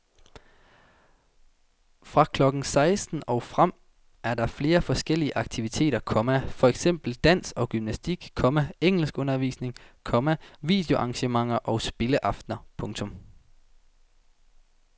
Fra klokken seksten og frem er der flere forskellige aktiviteter, komma for eksempel dans og gymnastik, komma engelskundervisning, komma videoarrangementer og spilleaftener. punktum